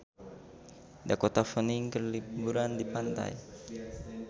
Dakota Fanning keur liburan di pantai